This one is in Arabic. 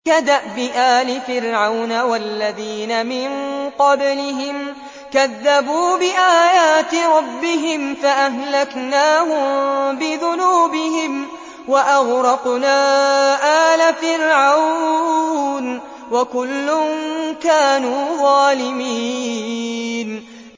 كَدَأْبِ آلِ فِرْعَوْنَ ۙ وَالَّذِينَ مِن قَبْلِهِمْ ۚ كَذَّبُوا بِآيَاتِ رَبِّهِمْ فَأَهْلَكْنَاهُم بِذُنُوبِهِمْ وَأَغْرَقْنَا آلَ فِرْعَوْنَ ۚ وَكُلٌّ كَانُوا ظَالِمِينَ